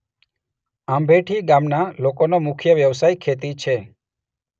આંભેઠી ગામના લોકોનો મુખ્ય વ્યવસાય ખેતી છે.